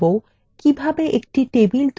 একটি table তৈরি করা যায়